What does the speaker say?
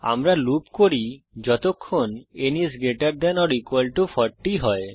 আমরা লুপ করি যতক্ষণ n is greater than or equal to 40 হয়